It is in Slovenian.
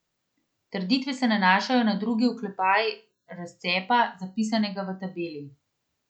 Trditve se nanašajo na drugi oklepaj razcepa, zapisanega v tabeli.